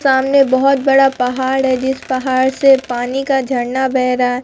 सामने बहोत बड़ा पहाड़ है जिस पहाड़ से पानी का झरना बह रहा है।